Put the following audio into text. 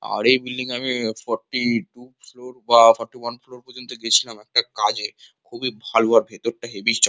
আর এই বিল্ডিং আমি forty two floor বা ফোর্টি ওয়ান ফ্লোর পর্যন্ত গিয়েছিলাম একটা কাজে খুবই ভাল আর ভেতরটা হেভি চক--